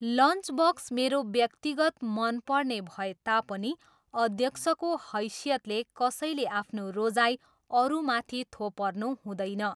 Lunch box मेरो व्यक्तिगत मनपर्ने भए तापनि अध्यक्षको हैसियतले कसैले आफ्नो रोजाइ अरूमाथि थोपर्नु हुँदैन।